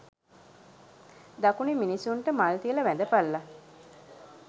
දකුණෙ මිනිස්සුන්ට මල් තියල වැඳපල්ල